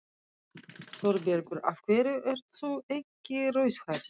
ÞÓRBERGUR: Af hverju ert þú ekki rauðhærð?